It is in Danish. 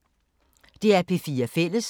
DR P4 Fælles